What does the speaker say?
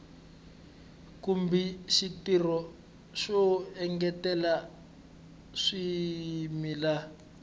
kumbe xitirho xo engetela swimila